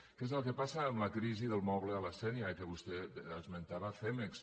què és el que passa amb la crisi del moble a la sénia que vostè esmentava cemex